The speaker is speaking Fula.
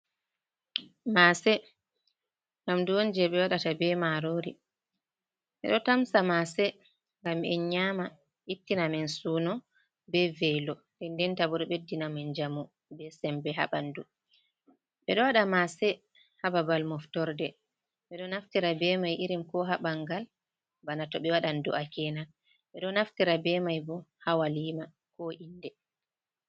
Mase nyamdu on je ɓe waɗata be marori, ɓeɗo tamsa mase ngam en nyama ittina men suno be veilo, den denta bo ɗo ɓeddina men njamu be sembe ha ɓanɗu. Ɓe ɗo waɗa mase ha babal moftorde, ɓe ɗo naftira be mai irin ko ha ɓangal bana to ɓe wadan du’a kena, ɓeɗo naftira be mai bo ha walima, ko inde.